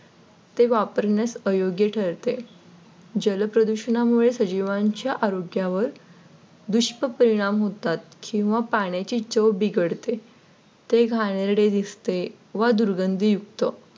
तेव्हा वापरण्यास अयोग्य ठरते. जलप्रदूषणामुळे सजीवांच्या आरोग्यावर दुष्परिणाम होतात किंवा पाण्याची चव बिघडते ते घाणेरडे दिसते व दुर्गंधीयुक्त